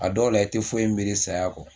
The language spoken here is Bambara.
A dɔw la i tɛ foyi miiri saya kɔ.